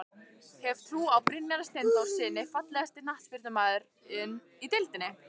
Hef trú á Brynjari Steinþórssyni Fallegasti knattspyrnumaðurinn í deildinni?